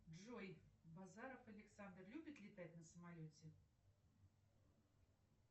джой базаров александр любит летать на самолете